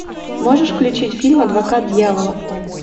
можешь включить фильм адвокат дьявола